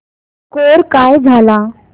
score काय झाला